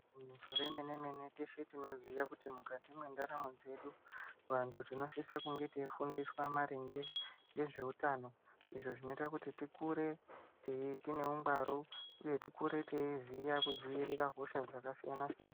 Igeinyiso remene mene teshe tinoziya kuti mukati mwendaramo dzedu vantu tinosisa kunge teifundiswa maringe ngezveutano izvo zvinoita kuti tikure tei tine ungwaru uye tikure teiziya kudziirira hosha dzakasiyana siyana.